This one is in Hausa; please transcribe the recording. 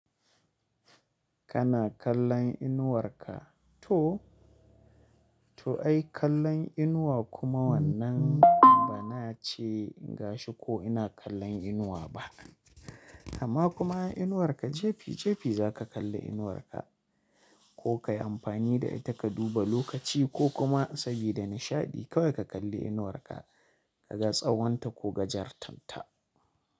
Kana kallon inuwar ka to, to ai kallon inuwa kuma wannan bana ce gashi ko ina kallon inuwa ba. Amma kuma inuwar ka jefi jefi za ka kalli inuwar ka ko ka yi amfani da ita ka duba lokaci ko kuma sabida nishaɗi kawai ka kalli inuwar ka ka ga tsawon ta ko gajartan ta.